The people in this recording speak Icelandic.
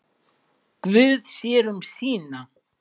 Guð sér um sína.